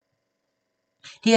DR2